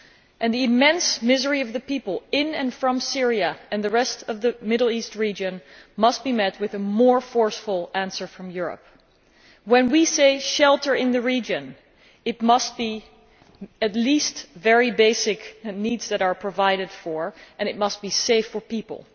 And the immense misery of the people in and from Syria and the rest of the Middle East region must be met with a more forceful answer from Europe. When we speak of shelter in the region, at least the most basic of needs must be provided for and it must be safe for people.